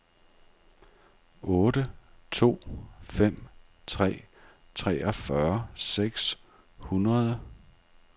otte to fem tre treogfyrre seks hundrede